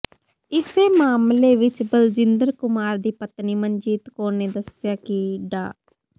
ਇਸੇ ਮਾਮਲੇ ਵਿਚ ਬਲਜਿੰਦਰ ਕੁਮਾਰ ਦੀ ਪਤਨੀ ਮਨਜੀਤ ਕੌਰ ਨੇ ਦੱਸਿਆ ਕਿ ਡਾ